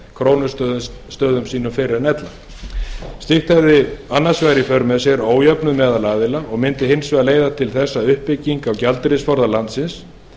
krónustöðum sínum fyrr en ella slíkt hefði annars vegar í för með sér ójöfnuð meðal aðila og myndi hins vegar leiða til þess að uppbygging gjaldeyrisforða landsins